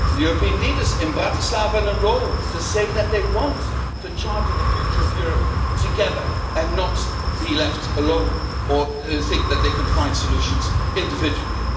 European leaders have met in Bratislava and in Rome to say that they want to chart the future of Europe together and not be left alone or think that they can find solutions individually.